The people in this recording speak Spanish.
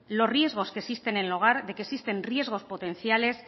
los riesgos que existen en el hogar de que existen riesgos potenciales